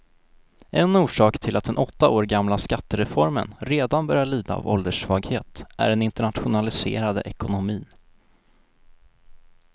En orsak till att den åtta år gamla skattereformen redan börjar lida av ålderssvaghet är den internationaliserade ekonomin.